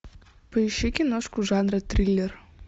поищи киношку жанра триллер